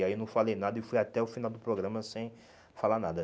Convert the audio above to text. Aí eu não falei nada e fui até o final do programa sem falar nada.